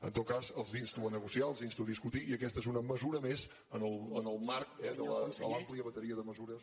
en tot cas els insto a negociar els insto a discutir i aquesta és una mesura més en el marc de l’àmplia bateria de mesures